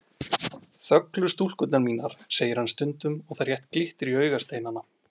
Þöglu stúlkurnar mínar, segir hann stundum og það rétt glittir í augasteinana.